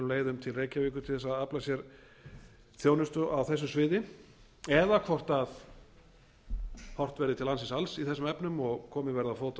leiðum til reykjavíkur til þess að afla sér þjónustu á þessu sviði eða hvort horft verði til landsins alls í þessum efnum og komið verði á fót